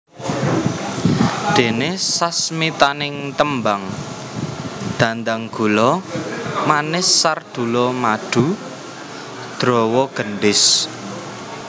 Dene sasmitaning tembang Dhandhanggula manis sardula madu drawa gendhis